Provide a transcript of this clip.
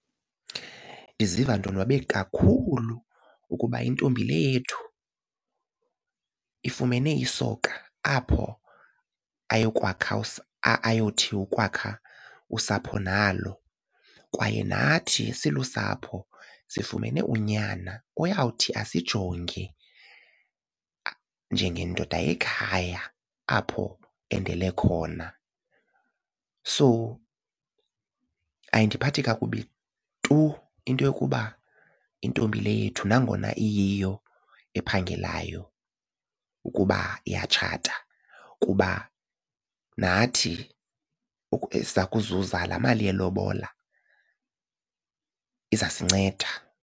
Ndiziva ndonwabe kakhulu ukuba intombi le yethu ifumene isoka apho ayokwakha ayothi ukwakha usapho nalo kwaye nathi silusapho sifumene unyana oyawuthi asijonge njengendoda yekhaya apho endele khona. So ayindiphathi kakubi tu into yokuba intombi le yethu nangona iyiyo ephangelayo ukuba iyatshata kuba nathi kuzuza laa mali yelobola, izasinceda.